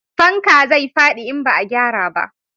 Fanka zai fadi in ba a gyara ba